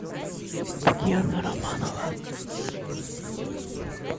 татьяна романова